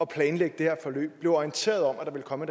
planlægge det her forløb blev orienteret om at der ville komme